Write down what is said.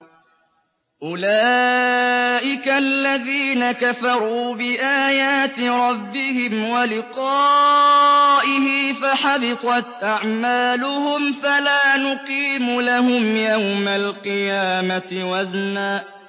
أُولَٰئِكَ الَّذِينَ كَفَرُوا بِآيَاتِ رَبِّهِمْ وَلِقَائِهِ فَحَبِطَتْ أَعْمَالُهُمْ فَلَا نُقِيمُ لَهُمْ يَوْمَ الْقِيَامَةِ وَزْنًا